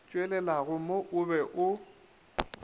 tšwelelago mo o be o